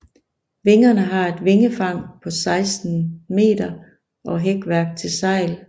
Vingerne har et vingefang på 16 meter og hækværk til sejl